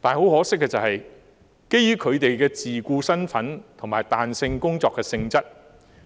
但很可惜，基於他們的自僱身份及彈性工作性質，今次